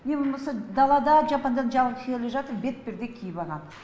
не болмаса далада жападан жалғыз келе жатыр бетперде киіп алған